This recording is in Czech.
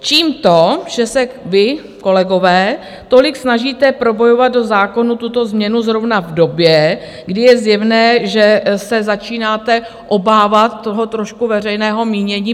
Čím to, že se vy, kolegové, tolik snažíte probojovat do zákonu tuto změnu zrovna v době, kdy je zjevné, že se začínáte obávat toho trošku veřejného mínění?